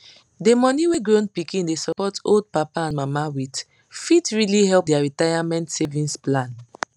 the money wey grown pikin dey support old papa and mama with fit really help their retirement savings plan